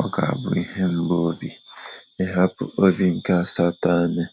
Ọ ga abụ ihe mgbu obi ịhapụ obi nke asatọ anyị